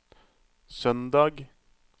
søndag